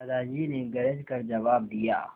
दादाजी ने गरज कर जवाब दिया